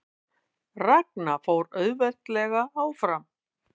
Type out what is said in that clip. Ragna fór auðveldlega áfram